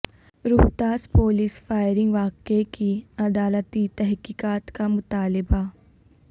Rohtas police firing واقعہ کی عدالتی تحقیقات کا مطالبہ